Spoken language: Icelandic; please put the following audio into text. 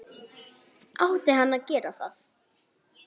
Átti hann að gera það??